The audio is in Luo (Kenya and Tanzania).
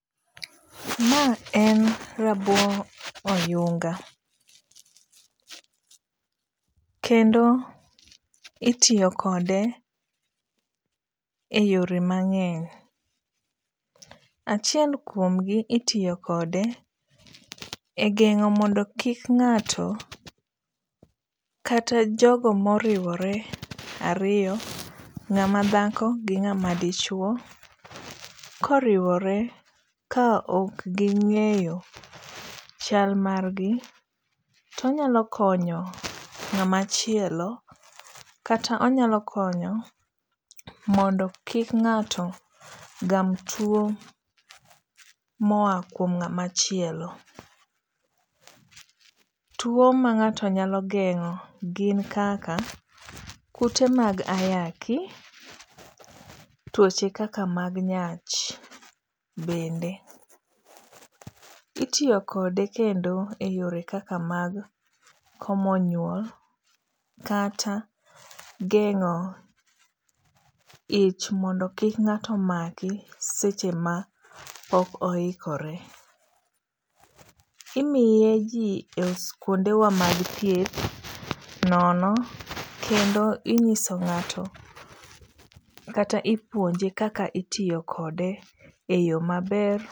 Ma en rabo oyunga, kendo itiyo kode e yore mang'eny, achiel kuomgi itiyo kode e gengo mondo kik ng'ato kata jogo ma oriwore ariyo ngamadhako gi ng'ama dichuo, koriworw ka ok gingeyo chal margi to onyalo konyo ngamachielo kata onyalo konyo mondo kik ng'ato gam tuo moa kuom ng'amachielo. Tuo ma ng'ato nyalo geng'o gin kaka kute mag ayaki, tuoche kaka mag nyach bende. Itiyo kode kendo e yore mag komo nyuol kata geng'o ich mondo kik ng'ato maki seche ma ok oyikore imiye ji kuondewa mag thieth nono kendo inyiso ng'ato kata ipuonje kaka itiyo kode e yo maber.